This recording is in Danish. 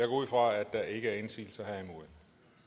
ud fra at der ikke er indsigelser jeg